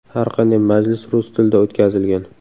Har qanday majlis rus tilida o‘tkazilgan.